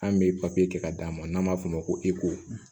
An bɛ kɛ ka d'a ma n'an b'a f'o ma ko